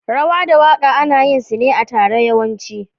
Rawa da waka ana yinsu ne a tare yawanci.